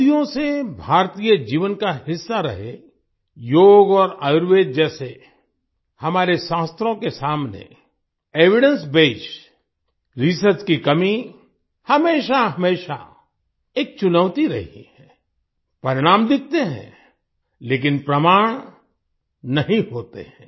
सदियों से भारतीय जीवन का हिस्सा रहे योग और आयुर्वेद जैसे हमारे शास्त्रों के सामने एविडेंस बेस्ड रिसर्च की कमी हमेशाहमेशा एक चुनौती रही है परिणाम दिखते हैं लेकिन प्रमाण नहीं होते हैं